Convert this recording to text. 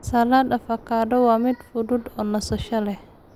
Salad Avocado waa mid fudud oo nasasho leh.